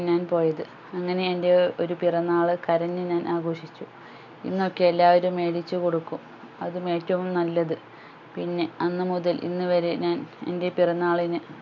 ഞാൻ പോയത് അങ്ങനെ എൻ്റെ ഒരു പിറന്നാള് കരഞ്ഞു ഞാൻ ആഘോഷിച്ചു ഇന്ന് ഒക്കെ എല്ലാവരും മേടിച്ചുകൊടുക്കും അതും ഏറ്റവും നല്ലത് പിന്നെ അന്ന് മുതൽ ഇന്ന് വരെ ഞാൻ എൻ്റെ പിറന്നാളിന്